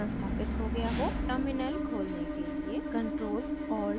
terminal खोलने के लिए ctrl + alt और t कीज़ दबाएँ